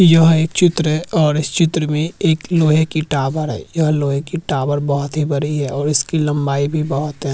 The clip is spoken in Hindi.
यह एक चित्र है और इस चित्र में एक लोहे की टावर है यह लोहे की टावर बहुत ही बड़ी है और इसकी लंबाई भी बहुत है।